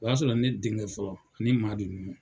O y'a sɔrɔ ne denkɛ fɔlɔ, ani Madu nunnu.